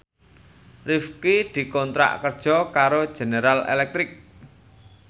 Rifqi dikontrak kerja karo General Electric